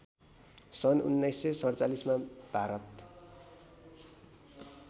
सन १९४७मा भारत